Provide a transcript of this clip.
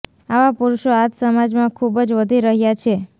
આવા પુરુષો આજ સમાજમાં ખુબ જ વધી રહ્યા છે